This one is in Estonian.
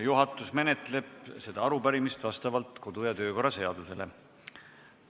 Juhatus menetleb seda arupärimist vastavalt kodu- ja töökorra seadusele.